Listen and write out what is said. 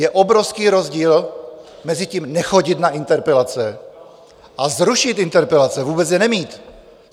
Je obrovský rozdíl mezi tím "nechodit na interpelace" a "zrušit interpelace", vůbec je nemít.